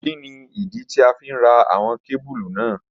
Kini idi ti a fi n ra awọn kebulu naa?